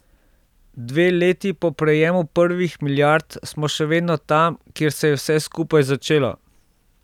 Dve leti po prejemu prvih milijard smo še vedno tam, kjer se je vse skupaj začelo.